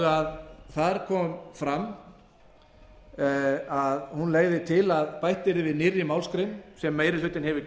fjárfesta þar kom fram að hún legði til að bætt yrði við nýrri málsgrein sem meiri hlutinn hefur